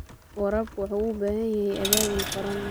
Waraabku wuxuu u baahan yahay abaabul qaran.